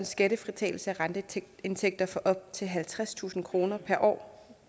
skattefritagelse af renteindtægter for op til halvtredstusind kroner per år